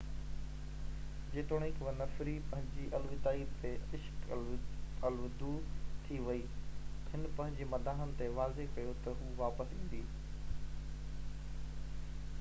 جيتوڻيڪ ونفري پنهنجي الوداعي تي اشڪ الودو ٿي وئي هن پنهنجي مداحن تي واضح ڪيو ته هو واپس ايندي